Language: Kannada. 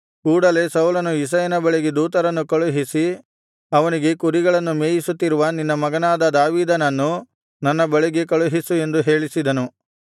ಕೂಡಲೆ ಸೌಲನು ಇಷಯನ ಬಳಿಗೆ ದೂತರನ್ನು ಕಳುಹಿಸಿ ಅವನಿಗೆ ಕುರಿಗಳನ್ನು ಮೇಯಿಸುತ್ತಿರುವ ನಿನ್ನ ಮಗನಾದ ದಾವೀದನನ್ನು ನನ್ನ ಬಳಿಗೆ ಕಳುಹಿಸು ಎಂದು ಹೇಳಿಸಿದನು